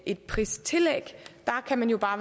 et pristillæg